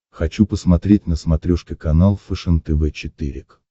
хочу посмотреть на смотрешке канал фэшен тв четыре к